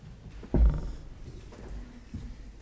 for